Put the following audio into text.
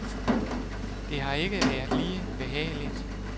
Det har ikke været lige behageligt.